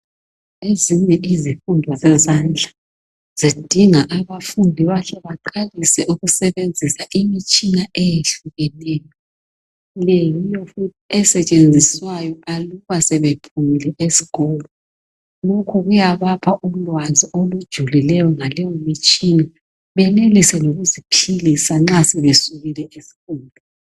Ezinye izifundo zezandla zidinga abafundi bahle baqalise ukusebenzisa imitshina eyehlukeneyo. Leyi yimithi esetshenziswayo aluba sebephumile esikolo. Lokho kuyabapha ulwazi olujulileyo ngaleyomitshina benelise lokuziphilisa nxa sebesukile kuzifundo.